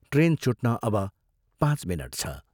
Train छुट्न अब पाँच मिनट छ।